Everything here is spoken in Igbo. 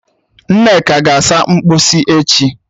Nneka ga-asa mkposi echi